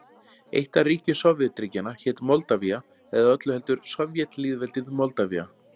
Eitt af ríkjum Sovétríkjanna hét Moldavía, eða öllu heldur Sovétlýðveldið Moldavía.